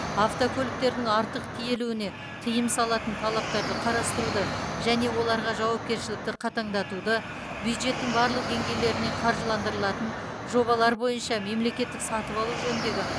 автокөліктердің артық тиелуіне тыйым салатын талаптарды қарастыруды және оларға жауапкершілікті қатаңдатуды бюджеттің барлық деңгейлеріне қаржыландырылатын жобалар бойынша мемлекеттік сатып алу жөніндегі